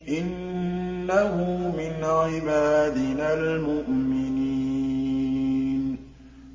إِنَّهُ مِنْ عِبَادِنَا الْمُؤْمِنِينَ